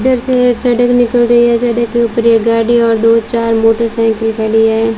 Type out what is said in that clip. इधर से एक सड़क निकल रही है सड़क के ऊपर एक गाड़ी और दो चार मोटरसाइकिल खड़ी है।